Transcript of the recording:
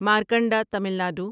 Markanda Tamil Nadu